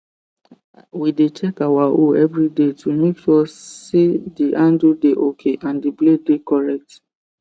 we dey check our hoe everyday to make sure sey the handle dey okay and the blade dey correct